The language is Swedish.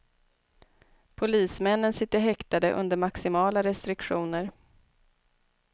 Polismännen sitter häktade under maximala restriktioner.